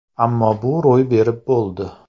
Ammo bu ro‘y berib bo‘ldi.